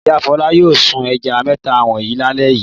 Ìyá Fọlá yóò sun ẹja mẹ́ta wọ̀nyí lálẹ́ yìí.